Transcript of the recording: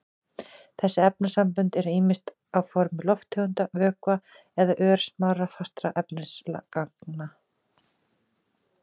Þessi efnasambönd eru ýmist á formi lofttegunda, vökva eða örsmárra fastra efnisagna.